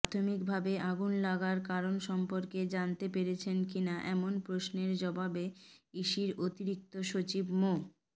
প্রাথমিকভাবে আগুন লাগার কারণ সম্পর্কে জানতে পেরেছেন কিনা এমন প্রশ্নের জবাবে ইসির অতিরিক্ত সচিব মো